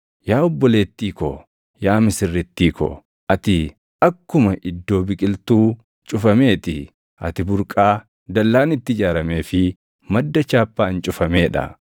Yaa obboleettii ko, yaa misirrittii ko, ati akkuma iddoo biqiltuu cufamee ti; ati burqaa dallaan itti ijaaramee fi madda chaappaan cufamee dha.